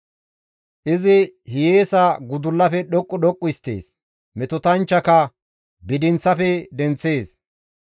Izi hiyeesa gudullafe dhoqqu dhoqqu histtees; metotanchchaka bidinththafe denththees.